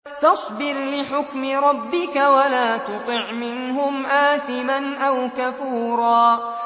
فَاصْبِرْ لِحُكْمِ رَبِّكَ وَلَا تُطِعْ مِنْهُمْ آثِمًا أَوْ كَفُورًا